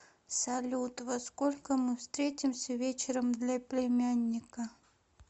салют во сколько мы встретимся вечером для племянника